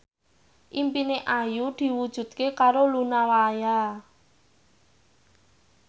impine Ayu diwujudke karo Luna Maya